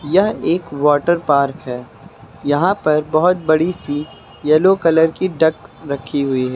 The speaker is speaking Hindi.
यह एक वाटर पार्क है। यहां पर बहुत बड़ी सी येलो कलर की डक रखी हुई है।